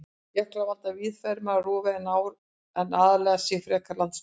Jöklar valda víðfeðmara rofi en ár en aðlaga sig frekar landslaginu.